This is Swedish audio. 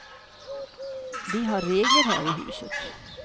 Vi har regler här i huset.